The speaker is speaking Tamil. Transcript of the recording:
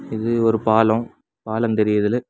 இது ஒரு பாலம் பாலம் தெரியுதுல.